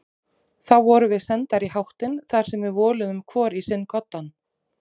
Þá vorum við sendar í háttinn þar sem við voluðum hvor í sinn koddann.